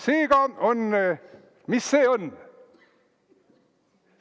Seega, mis see on?